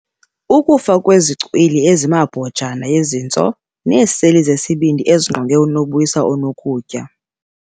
Ukufa kwezicwili zemibhojana yezintso neeseli zesibindi ezingqonge unobuyisa onokutya